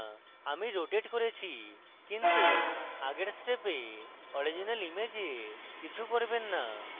আমি rotate করেছি কিন্তু আগের steps original image কিছু করবেন না